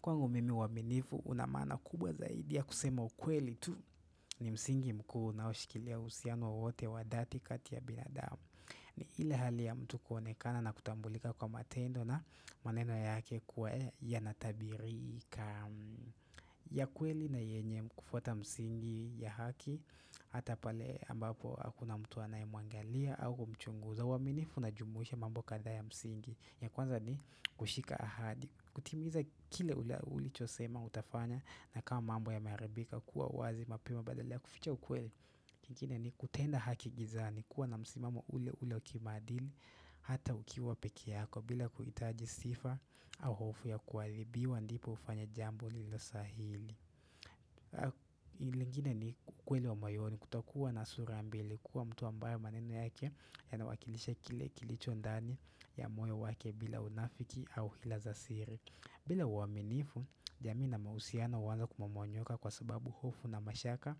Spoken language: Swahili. Kwangu mimi uaminifu unamaana kubwa zaidi ya kusema ukweli tu ni msingi mkuu unaoshikilia uhusiano wote wa dhati kati ya binadamu. Ni ile hali ya mtu kuonekana na kutambulika kwa matendo na maneno yake kuwa ya natabirika ya kweli na yenye kufuata msingi ya haki hata pale ambapo hakuna mtu anayemuangalia au kumchunguza. Uaminifu unajumuhisha mambo kadhaa ya msingi ya kwanza ni kushika ahadi. Kutimiza kile ulicho sema utafanya na kama mambo yame haribika kuwa wazi mapema badala ya kuficha ukweli. Kingine ni kutenda haki gizani kuwa na msimamo ule ule wa kimaadili hata ukiwa pekee yako bila kuhitaji sifa au hofu ya kuadhibiwa ndipo ufanye jambo lilo sahili. Lingine ni ukweli wa moyoni kutakuwa na surambili kuwa mtu ambayo maneno yake ya nawakilisha kile kilicho ndani ya moyo wake bila unafiki au hila za siri bila uaminifu, jamii na mahusiano huanza kumomonyoka kwa sababu hofu na mashaka